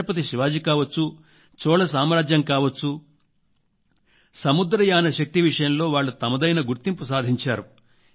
ఛత్రపతి శివాజీ కావచ్చు చోళ సామ్రాజ్యం కావచ్చు సముద్రయాన శక్తి విషయంలో వాళ్లు తమదైన గుర్తింపు సాధించారు